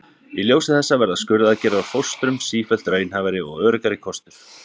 Í ljósi þessa verða skurðaðgerðir á fóstrum sífellt raunhæfari og öruggari kostur.